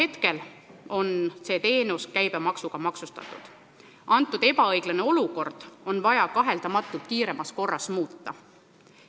Praegu on see teenus käibemaksuga maksustatud ja kahtlemata on ebaõiglast olukorda vaja kiiremas korras muuta.